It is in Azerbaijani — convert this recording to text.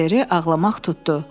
Oliveri ağlamaq tutdu.